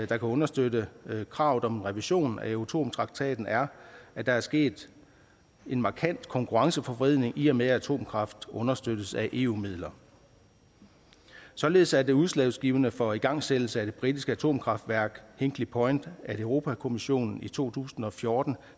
kan understøtte kravet om en revision af euratom traktaten er at der er sket en markant konkurrenceforvridning i og med at atomkraft understøttes af eu midler således er der udslagsgivende for igangsættelse af det britiske atomkraftværk hinkley point at europa kommissionen i to tusind og fjorten